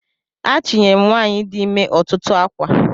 Ajinyem nwanyi di imer otutu akwa.